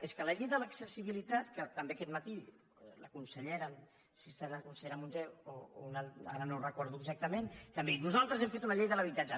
és que la llei de l’accessibilitat que també aquest matí la consellera si ha estat la consellera munté o ara no ho recordo exactament també ha dit nosaltres hem fet una llei de l’habitatge